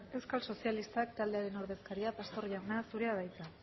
euskal sozialistak taldearen ordezkaria pastor jauna zurea da hitza